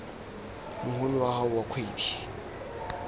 mogolo wa gago wa kgwedi